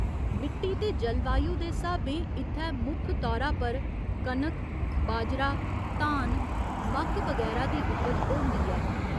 मिट्टी ते जलवायु दे स्हाबें इत्थै मुक्ख तौरा पर कनक, बाजरा, धान, मक्क बगैरा दी उपज होंदी ऐ।